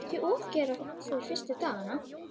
Ekki ofgera þér fyrstu dagana.